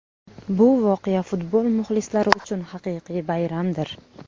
Bu voqea futbol muxlislari uchun haqiqiy bayramdir.